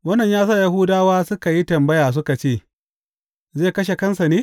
Wannan ya sa Yahudawa suka yi tambaya suka ce, Zai kashe kansa ne?